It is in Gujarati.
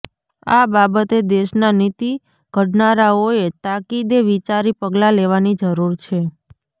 આ બાબતે દેશના નીતિ ઘડનારાઓએ તાકીદે વિચારી પગલાં લેવાની જરૂર છે